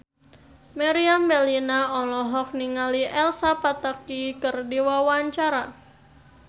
Meriam Bellina olohok ningali Elsa Pataky keur diwawancara